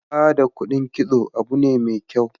Ba da kudin kitso abu ne mai kyau.